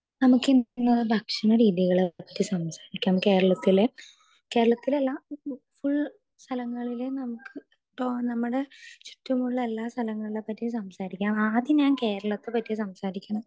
speaker 2 നമുക്കിന്ന് ഭക്ഷണ രീതികളെ പറ്റി സംസാരിക്കാം കേരളത്തിലെ കേരളത്തിലെ അല്ല ഫുൾ സ്ഥലങ്ങളിലെ നമുക്ക് തോന്ന നമ്മടെ ചുറ്റുമുള്ള എല്ലാ സ്ഥലങ്ങളെ പറ്റിയും സംസാരിക്കാം ആദ്യം ഞാൻ കേരളത്തെ പറ്റി സംസാരിക്കണം